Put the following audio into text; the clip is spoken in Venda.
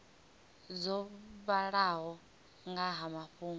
dzo vhalaho nga ha mafhungo